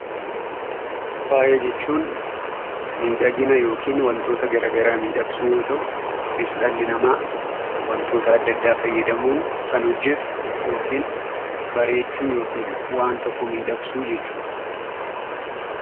Faaya jechuunnmiidhagina yookiin wantoota gara garaa miidhagsuu yoo ta'u, kunis dhalli namaa wantoota ada addaa fayyadamuun kan hojjetu yookiin bareechuu yookiin waan tokko miidhagsuu jechuu dha.